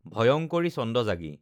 ভয়ঙ্কৰী ছন্দ জাগি